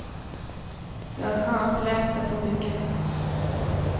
Jag ska ha en fläta på ryggen.